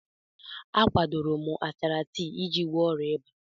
A kwadoro m achara tii iji gwọọ ịba.